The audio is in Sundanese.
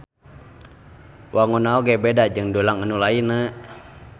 Wangunna oge beda jeung dulang anu lainna